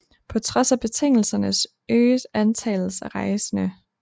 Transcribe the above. På trods af betingelserne øges antallet af rejsende